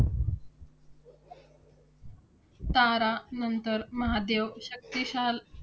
तारा नंतर महादेव शक्तिशाल